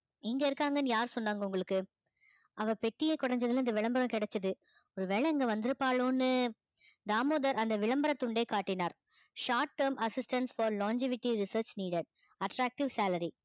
இங்க இருக்காங்கன்னு யார் சொன்னாங்க உங்களுக்கு அவ பெட்டியை கொடைஞ்சதுல இந்த விளம்பரம் கிடைச்சது ஒருவேளை இங்க வந்திருப்பாளோன்னு தாமோதர் அந்த விளம்பர துண்டை காட்டினார் short term assistants for longevity research needer attractive salary